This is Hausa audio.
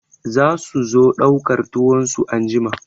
Za su zo ɗaukar tuwon su anjima.